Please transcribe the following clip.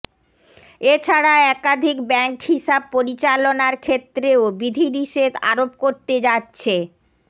এ ছাড়া একাধিক ব্যাংক হিসাব পরিচালনার ক্ষেত্রেও বিধিনিষেধ আরোপ করতে যাচ্ছে